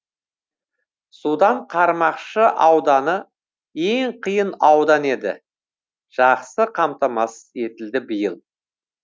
судан қармақшы ауданы ең қиын аудан еді жақсы қамтамасыз етілді биыл